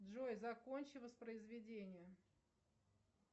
джой закончи воспроизведение